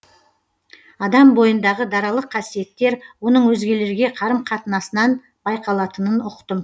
адам бойындағы даралық қасиеттер оның өзгелерге қарым қатынасынан байқалатынын ұқтым